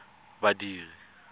badiri